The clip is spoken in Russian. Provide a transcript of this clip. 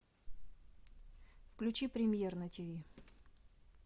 включи премьер на ти ви